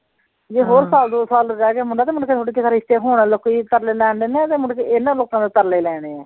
ਜੇ ਹੋਰ ਸਾਲ ਦੋ ਸਾਲ ਰਹਿ ਗਿਆ ਮੁੰਡਾ ਤਾ ਮੁੰਡੇ ਦਾ ਤੁਹਾਡੇ ਦਾ ਰਿਸ਼ਤੇ ਹੁਣ ਲੋਕੀ ਤਰਲੇ ਲੈਣ ਡਏ ਨੇ ਤੇ ਮੁੜਕੇ ਇਹਨਾਂ ਲੋਕਾਂ ਦੇ ਤਰਲੇ ਲੈਣੇ ਏ